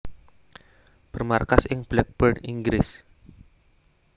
Bermarkas ing Blackburn Inggris